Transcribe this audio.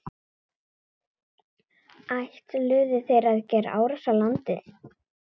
Ætluðu þeir að gera árás á landið?